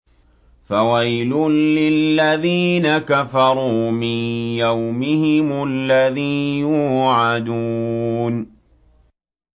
فَوَيْلٌ لِّلَّذِينَ كَفَرُوا مِن يَوْمِهِمُ الَّذِي يُوعَدُونَ